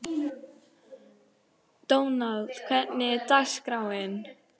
Sirrí, hvað er í matinn á föstudaginn?